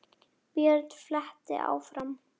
Björn flettir áfram.